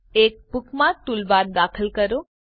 એક bookmark toolbar દાખલ કરો